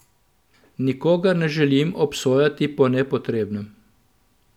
Nikogar ne želim obsojati po nepotrebnem.